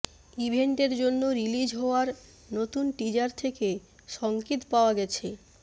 ইভেন্টের জন্য রিলিজ হওয়ার নতুন টিজার থেকে সংকেত পাওয়া গেছে